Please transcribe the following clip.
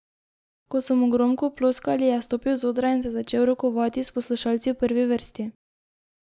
Ko so mu gromko ploskali, je stopil z odra in se začel rokovati s poslušalci v prvi vrsti.